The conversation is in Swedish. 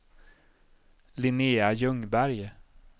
Linnea Ljungberg